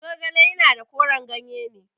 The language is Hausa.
Zogale yana da koren ganye ne.